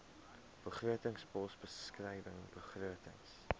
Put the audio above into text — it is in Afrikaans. begrotingspos beskrywing begrotings